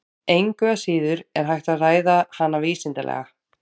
Engu að síður er hægt að ræða hana vísindalega.